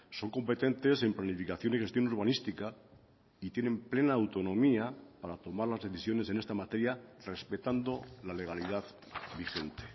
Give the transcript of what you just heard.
son competentes en planificación y gestión urbanística y tienen plena autonomía para tomar las decisiones en esta materia respetando la legalidad vigente